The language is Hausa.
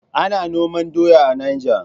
Ana noman doya a Niger.